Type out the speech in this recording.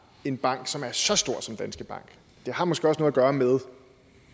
en bank som er så stor som danske bank det har måske også noget at gøre med